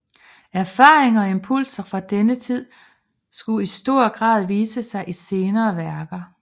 Erfaringer og impulser fra denne tid skulle i stor grad vise sig i senere værker